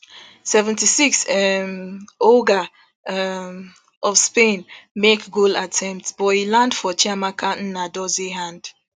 seventy-six um olga um of spain make goal attempt but e land for chiamaka nnadozie hand